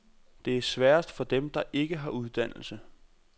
Det er sværest for dem, der ikke har uddannelse.